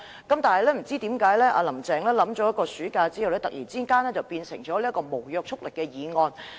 可是，不知何故，"林鄭"在暑假期間深入考慮後，突然改為提出無約束力的議案。